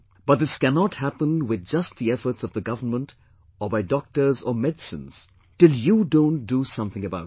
But this cannot happen with just the efforts of the government or by doctors or medicines till you don't do something about it